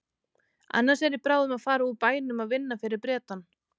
Annars er ég bráðum að fara úr bænum að vinna fyrir Bretann.